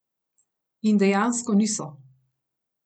In dejansko niso.